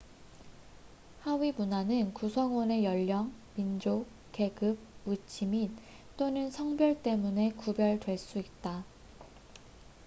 하위문화는 구성원의 연령 민족 계급 위치 및/또는 성별 때문에 구별될 수 있다